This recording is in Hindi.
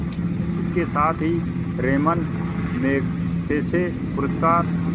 इसके साथ ही रैमन मैग्सेसे पुरस्कार